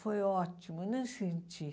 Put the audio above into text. Foi ótimo, eu nem senti.